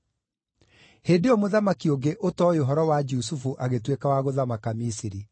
Hĩndĩ ĩyo mũthamaki ũngĩ ũtooĩ ũhoro wa Jusufu agĩtuĩka wa gũthamaka Misiri.